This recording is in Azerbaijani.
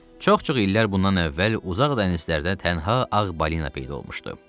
Çox-çox illər bundan əvvəl uzaq dənizlərdə tənhə ağ balina peyda olmuşdu.